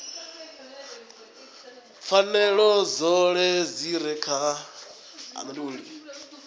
pfanelo dzoṱhe dzi re kha